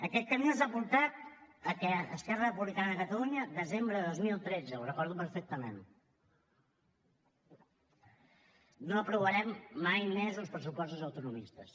aquest camí els ha portat que esquerra republicana de catalunya desembre de dos mil tretze ho recordo perfectament no aprovarem mai uns pressupostos autonomistes